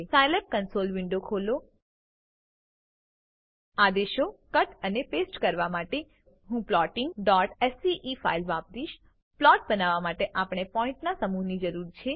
Scilab console window ખોલો આદેશો cut અને પેસ્ટ કરવા માટે હું plottingસ્કે ફાઈલ વાપરીશ પ્લોટ બનાવવા માટે આપણને પોઈન્ટના સમૂહની જરૂર છે